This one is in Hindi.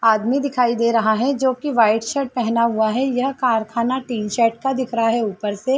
आदमी दिखाई दे रहा है जोकि वाइट शर्ट पहना हुआ है। यह कारखाना टीन सेट का दिख रहा है ऊपर से।